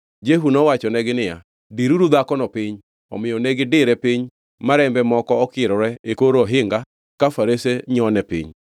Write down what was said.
Jehu nowachonegi niya, “Diruru dhakono piny!” Omiyo negidire piny ma rembe moko okirore e kor ohinga ka farase nyone piny.